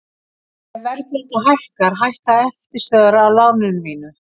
Ef verðbólga hækkar hækka eftirstöðvar á láninu mínu.